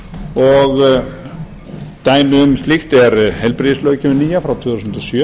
og dæmi um slíkt er heilbrigðislöggjöfin nýja frá tvö þúsund og sjö